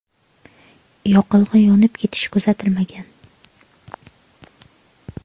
Yoqilg‘i yonib ketishi kuzatilmagan.